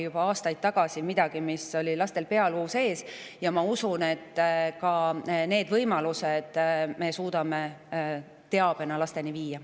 Juba aastaid tagasi oli lasteabitelefon lastel pealuu sees ja ma usun, et me suudame teabe ka nende võimaluste kohta lasteni viia.